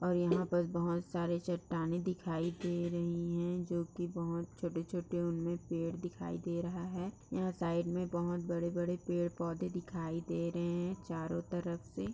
और यहाँ पर बहोत सारी चट्टानें दिखाई दे रही हैं जो कि बहोत छोटे-छोटे उनमे पेड़ दिखाई दे रहा है। यहाँ साइड में बहोत बड़े- बड़े पेड़-पौधे दिखाई दे रहे हैं चारो तरफ से --